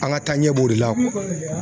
An ka taaɲɛ b'o de la